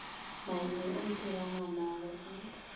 maime o ntira ngwanagwe a